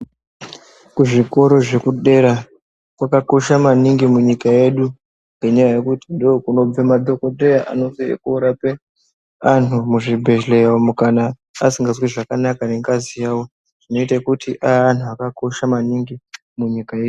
Ku zvikoro zve kudera kwaka kosha maningi munyika yedu nge nyaya yekuti ndo kunobve madhokodheya anenge eiko rape anhu mu zvibhedhleya umu kana asingazwi zvakanaka ne ngazi yavo zvino ite kuti ave anhu akakosha maningi mu nyika yedu.